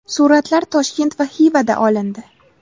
Suratlar Toshkent va Xivada olindi.